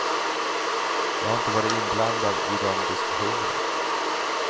Jag har inte varit inblandad i de diskussionerna.